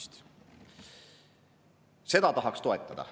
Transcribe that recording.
Seda tahaks toetada.